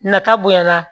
Nata bonya na